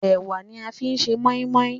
Ẹwà ní a fí ṣe moimoi.